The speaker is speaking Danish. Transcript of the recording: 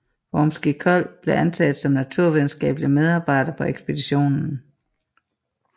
Wormskiold blev antaget som naturvidenskabelig medarbejder på ekspeditionen